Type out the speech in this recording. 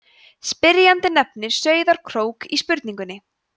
spyrjandi nefnir sauðárkrók í spurningunni